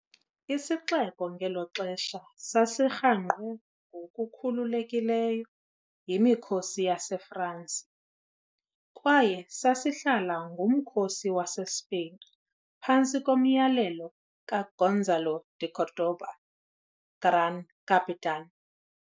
Isixeko ngelo xesha sasirhangqwe ngokukhululekileyo yimikhosi yaseFransi, kwaye sasihlala ngumkhosi waseSpain phantsi komyalelo kaGonzalo de Cordoba 'Gran Capitan'.